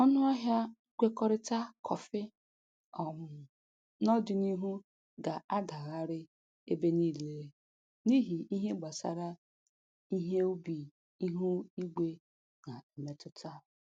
Ọnụ ahịa nkwekọrịta kọfị um n'ọdịniihu na-adagharị ebe niile n'ihi ihe gbasara ihe ubi ihu igwe na-emetụta.